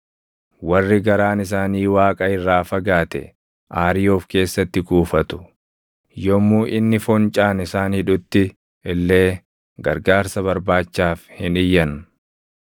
“Warri garaan isaanii Waaqa irraa fagaate, aarii of keessatti kuufatu; yommuu inni foncaan isaan hidhutti illee gargaarsa barbaachaaf hin iyyan.